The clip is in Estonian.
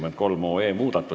Istungi lõpp kell 10.48.